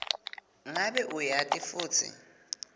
ngabe uyati futsi